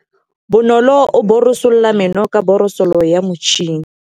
Bonolô o borosola meno ka borosolo ya motšhine.